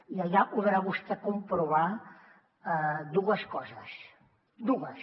i allà podrà vostè comprovar dues coses dues